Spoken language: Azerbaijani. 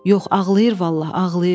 Yox, ağlayır vallah, ağlayır.